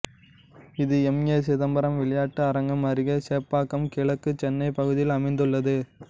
இது M A Chidambaram விளையாட்டு அரங்கம் அருகே சேப்பாக்கம் கிழக்கு சென்னை பகுதியில் அமைந்துள்ளது